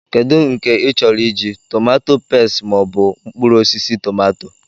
Kedu nke ị chọrọ I ji, tomato peste mọọbụ mkpụrụosisi tọmatọ?